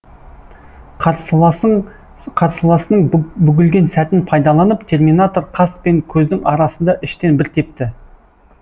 қарсыласының бүгілген сәтін пайдаланып терминатор қас пен көздің арасында іштен бір тепті